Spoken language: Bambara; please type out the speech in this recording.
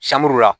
Sanbula